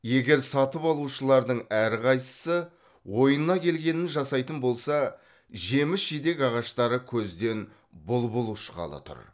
егер сатып алушылардың әрқайсысы ойына келгенін жасайтын болса жеміс жидек ағаштары көзден бұлбұл ұшқалы тұр